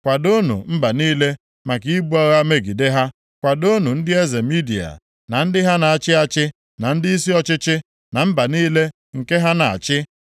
Kwadoonụ mba niile maka ibu agha megide ha, kwadoonụ ndị eze Midia, na ndị ha na-achị achị, na ndịisi ọchịchị, na mba niile nke ha na-achị.